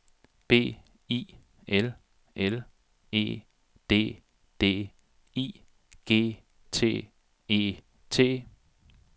B I L L E D D I G T E T